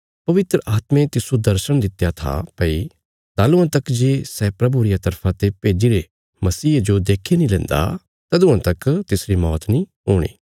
पवित्र आत्मे तिस्सो दर्शण दित्या था भई तालुआं तक जे सै प्रभु रिया तरफा ते भेज्जीरे मसीहे जो देखी नीं लेन्दा तदुआं तक तिसरी मौत नीं हूणी